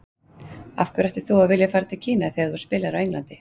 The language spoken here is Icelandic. Af hverju ættir þú að vilja fara til Kína þegar þú spilar á Englandi?